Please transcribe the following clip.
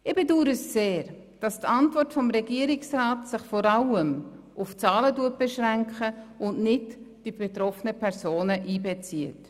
Ich bedaure sehr, dass die Antwort des Regierungsrats sich vor allem auf Zahlen beschränkt und nicht die betroffenen Personen einbezieht.